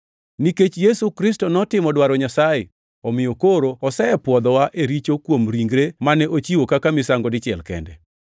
Nikech Yesu Kristo notimo dwaro Nyasaye, omiyo koro osepwodhwa e richo kuom ringre mane ochiwo kaka misango dichiel kende.